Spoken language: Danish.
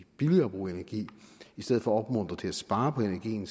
billigere at bruge energi i stedet for at opmuntre til at spare på energien